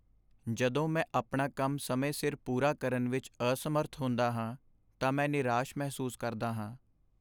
ਜਦੋਂ ਮੈਂ ਆਪਣਾ ਕੰਮ ਸਮੇਂ ਸਿਰ ਪੂਰਾ ਕਰਨ ਵਿੱਚ ਅਸਮਰੱਥ ਹੁੰਦਾ ਹਾਂ ਤਾਂ ਮੈਂ ਨਿਰਾਸ਼ ਮਹਿਸੂਸ ਕਰਦਾ ਹਾਂ।